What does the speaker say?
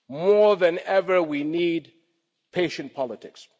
More than ever, we need patient politics.